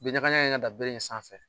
Bin ɲagaɲaga in ka dan bere in sanfɛ